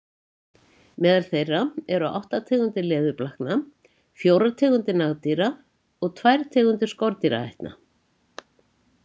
Meðal þeirra eru átta tegundir leðurblakna, fjórar tegundir nagdýra og tvær tegundir skordýraætna.